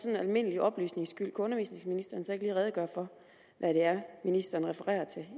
almindelige oplysnings skyld kan undervisningsministeren så ikke lige redegøre for hvad det er ministeren refererer til i